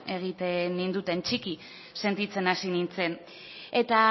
egiten ninduten txiki sentitzen hasi nintzen eta